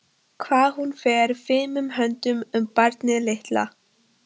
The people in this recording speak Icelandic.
Hvað hún fer fimum höndum um barnið litla.